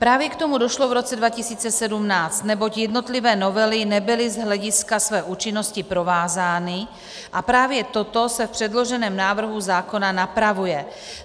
Právě k tomu došlo v roce 2017, neboť jednotlivé novely nebyly z hlediska své účinnosti provázány, a právě toto se v předloženém návrhu zákona napravuje.